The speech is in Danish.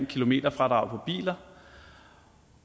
kilometerfradrag på biler